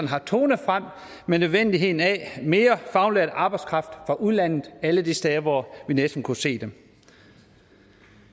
har tonet frem med nødvendigheden af mere faglært arbejdskraft fra udlandet alle de steder hvor vi næsten kunne se dem